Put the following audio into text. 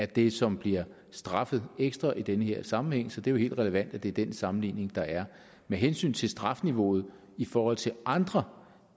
det som bliver straffet ekstra i den her sammenhæng så det er helt relevant at det er den sammenligning der er med hensyn til strafniveauet i forhold til andre